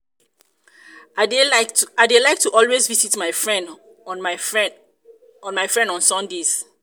i dey like to always visit my friend on my friend on sundays